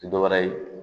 Tɛ dɔ wɛrɛ ye